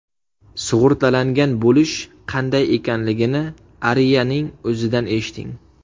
Sug‘urtalangan bo‘lish qanday ekanligini Aria’ning o‘zidan eshiting!